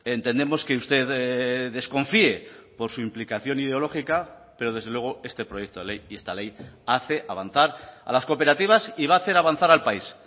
entendemos que usted desconfíe por su implicación ideológica pero desde luego este proyecto de ley y esta ley hace avanzar a las cooperativas y va a hacer avanzar al país